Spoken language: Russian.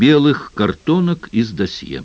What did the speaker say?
белых картонок из досье